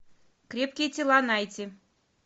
крепкие тела найти